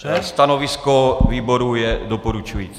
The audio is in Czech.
Stanovisko výboru je doporučující.